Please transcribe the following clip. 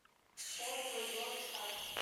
отзывы белый сад